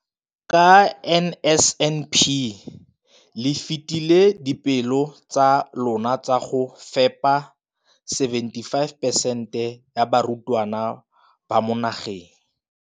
Ka NSNP le fetile dipeelo tsa lona tsa go fepa masome a supa le botlhano a diperesente ya barutwana ba mo nageng.